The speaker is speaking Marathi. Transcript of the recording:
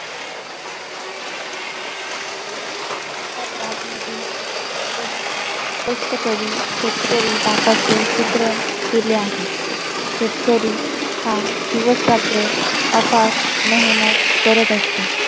शेतात राबनारी, कष्ट, कष्टकरी, शेतकरी बापाचे चित्रण केले आहे. शेतकरी हा दिवसरात्र अपार मेहनत करत असतो.